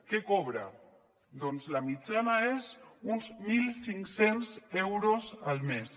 què cobra doncs la mitjana és d’uns mil cinc cents euros al mes